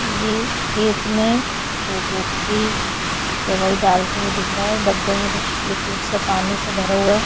ये खेत में एक व्यक्ति दवाई डालते हुए दिख रहा है डब्बे मे कुछ लिक्विड सा पानी सा भरा हुआ है।